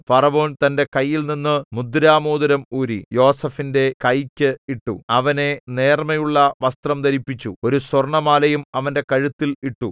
ഫറവോൻ തന്റെ കൈയിൽനിന്ന് മുദ്രമോതിരം ഊരി യോസേഫിന്റെ കൈയ്ക്ക് ഇട്ടു അവനെ നേർമ്മയുള്ള വസ്ത്രം ധരിപ്പിച്ചു ഒരു സ്വർണ്ണമാലയും അവന്റെ കഴുത്തിൽ ഇട്ടു